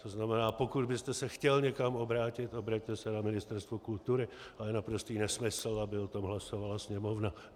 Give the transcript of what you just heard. To znamená, pokud byste se chtěl někam obrátit, obraťte se na Ministerstvo kultury, ale je naprostý nesmysl, aby o tom hlasovala Sněmovna.